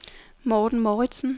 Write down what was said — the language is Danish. Morten Mouritzen